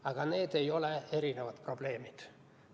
Aga need ei ole erinevad probleemid.